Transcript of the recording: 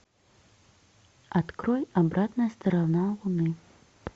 открой обратная сторона луны